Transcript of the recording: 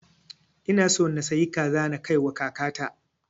Ina so na sayi kaza na kai wa kaka ta